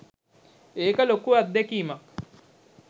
ඒක ලොකු අත්දැකීමක්.